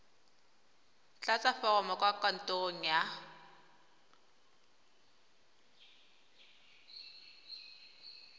tlatsa foromo kwa kantorong ya